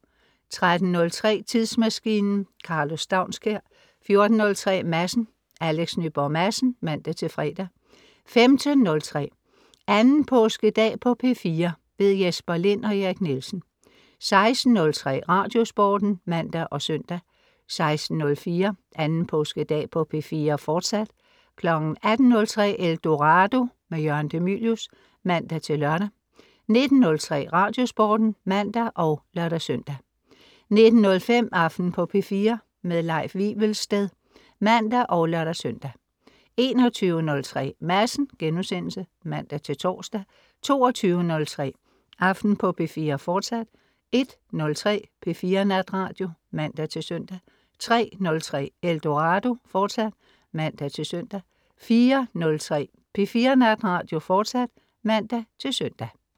13.03 Tidsmaskinen. Karlo Staunskær 14.03 Madsen. Alex Nyborg Madsen (man-fre) 15.03 2. Påskedag på P4. Jesper Lind og Erik Nielsen 16.03 Radiosporten (man og søn) 16.04 2. Påskedag på P4, fortsat 18.03 Eldorado. Jørgen de Mylius (man-lør) 19.03 Radiosporten (man og lør-søn) 19.05 Aften på P4. Leif Wivelsted (man og lør-søn) 21.03 Madsen* (man-tors) 22.03 Aften på P4, fortsat 01.03 P4 Natradio (man-søn) 03.03 Eldorado* (man-søn) 04.03 P4 Natradio, fortsat (man-søn)